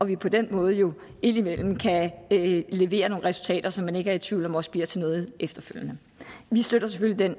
vi på den måde indimellem kan levere nogle resultater som man ikke er i tvivl om også bliver til noget efterfølgende vi støtter selvfølgelig det